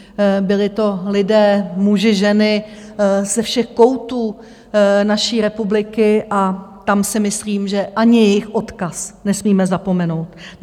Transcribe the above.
Byli to lidé, muži, ženy ze všech koutů naší republiky a tam si myslím, že ani jejich odkaz nesmíme zapomenout.